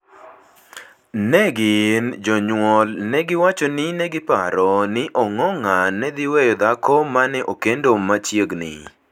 Ne gin (jonyuol) ne giwacho ni ne giparo ni Ongong’a ne dhi weyo dhako ma ne okendo machiegni